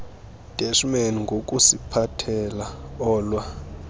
deshman ngokusiphathela olwa